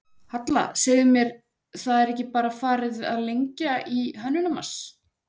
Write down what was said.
Halla, segðu mér, það er ekki bara farið að lengja í Hönnunarmars?